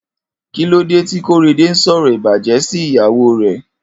Kilódé ti Korede n sọrọ ibàjẹ̀ si ìyàwó rè?